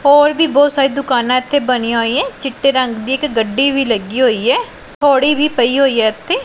ਹੋਰ ਵੀ ਬੋਹੁਤ ਸਾਰੀ ਦੁਕਾਨਾਂ ਇਥੇ ਬਣੀਆਂ ਹੋਈ ਆਂ ਚਿੱਟੇ ਰੰਗ ਦੀ ਇਕ ਗੱਡੀ ਵੀ ਲੱਗੀ ਹੋਈ ਏ ਪੌੜੀ ਵੀ ਪਈ ਹੋਈ ਏ ਇਥੇ।